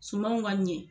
Sumanw ka ɲɛ